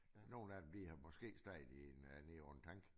Nogle af dem de har måske stået i en nede på en tank